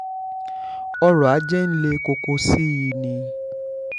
ọrọ̀-ajé ń le koko sí i ni